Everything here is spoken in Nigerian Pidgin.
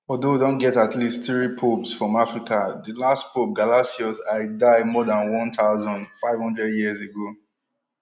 although don get at least three popes from africa di last pope gelasius i die more dan one thousand, five hundred years ago